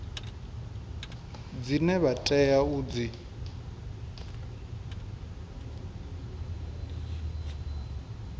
dzine vha tea u dzi